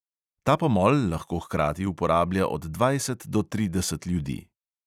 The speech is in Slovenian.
Ta pomol lahko hkrati uporablja od dvajset do trideset ljudi.